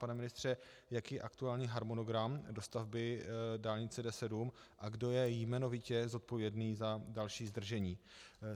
Pane ministře, jaký je aktuální harmonogram dostavby dálnice D7 a kdo je jmenovitě zodpovědný za další zdržení?